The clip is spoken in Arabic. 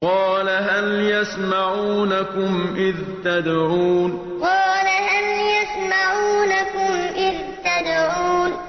قَالَ هَلْ يَسْمَعُونَكُمْ إِذْ تَدْعُونَ قَالَ هَلْ يَسْمَعُونَكُمْ إِذْ تَدْعُونَ